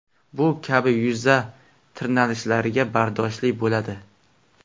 Bu kabi yuza tirnalishlarga bardoshli bo‘ladi.